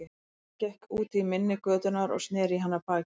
Jón gekk út í mynni götunnar og sneri í hana baki.